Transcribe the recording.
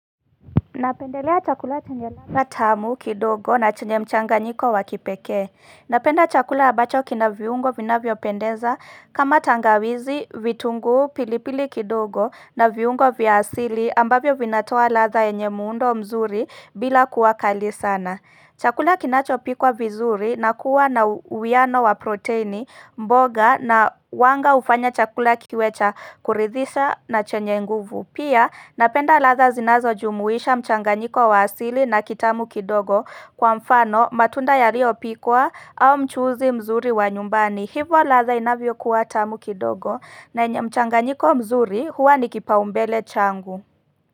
Napendelea chakula chenye radha tamu kidogo na chenye mchanganyiko wakipekee. Napenda chakula ambacho kina viungo vinavyopendeza kama tangawizi, vitunguu, pilipili kidogo na viungo vya asili ambavyo vinatoa radha yenye muundo mzuri bila kuwa kali sana. Chakula kinacho pikwa vizuri na kuwa na uwiano wa proteini mboga na wanga ufanya chakula kiwe cha kuridhisha na chenye nguvu. Pia napenda radha zinazo jumuisha mchanganyiko wa asili na kitamu kidogo kwa mfano matunda yaliyo pikwa au mchuzi mzuri wa nyumbani. Hivo radha inavyo kuwa tamu kidogo na mchanganyiko mzuri huwa nikipaumbele changu.